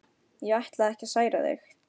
Ég ætlaði ekki að særa þig.